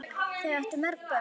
Þau áttu mörg börn.